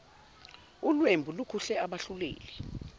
ulwembu lukhuhle abahluleli